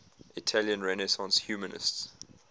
italian renaissance humanists